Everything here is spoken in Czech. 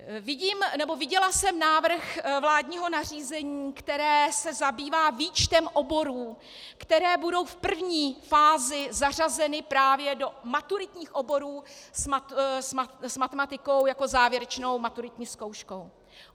Viděla jsem návrh vládního nařízení, které se zabývá výčtem oborů, které budou v první fázi zařazeny právě do maturitních oborů s matematikou jako závěrečnou maturitní zkouškou.